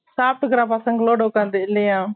சாப்டுக்குறான் பசங்களோடு உட்காந்து இல்லையா